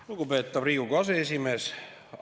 Lugupeetav Riigikogu aseesimees!